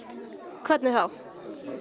hvernig þá